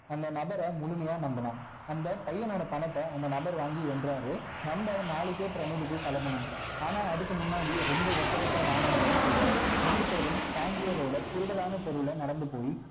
அந்த நபர முழுமையா நம்புனான் அந்த பையனோட பணத்தை அந்த நபர் வாங்கி எண்றாரு நம்ம நாளைக்கே பிரமிடுக்கு கிளம்பணும் ஆனா அதுக்கு முன்னாடி ரெண்டு ஒட்டகத்தை வாங்கணும்னு சொல்றாரு ரெண்டு பேரும் tangier ஓட குறுடலான தெருவுல நடந்து போய்